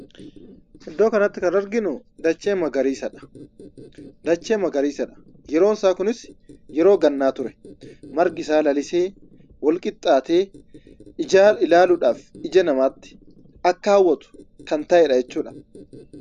Iddo kanatti kan arginu dachee magariisadha. Yeroon isaa kunis yeroo gannaadha. Margi isaa lalisee, wal qixxaatee, ijaan ilaaluudhaaf ija namaatti akka hawwatu kan ta'edha jechuudha.